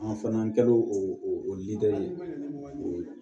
An fana an kɛlen o ladeli o